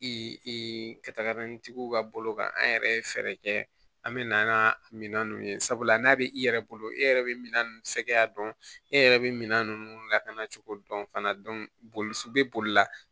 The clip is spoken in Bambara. ka taga n'i tigiw ka bolo kan an yɛrɛ ye fɛɛrɛ kɛ an mɛ na an ka minɛn ninnu ye sabula n'a bɛ i yɛrɛ bolo e yɛrɛ bɛ min sɛgɛnya dɔn e yɛrɛ bɛ minan ninnu lakana cogo dɔn fana boli bɛ boli la